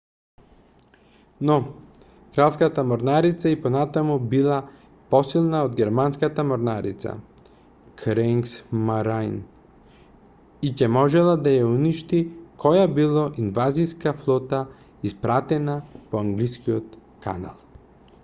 "но кралската морнарица и понатаму била посилна од германската морнарица kriegsmarine" и ќе можела да ја уништи која било инвазиска флота испратена по англискиот канал.